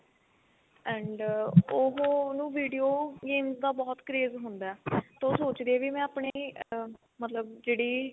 and ਉਹ ਉਹਨੂੰ video game ਦਾ ਬਹੁਤ craze ਹੁੰਦਾ ਤਾਂ ਉਹ ਸੋਚਦੀ ਆ ਮੈਂ ਆਪਣੀ ah ਮਤਲਬ ਜਿਹੜੀ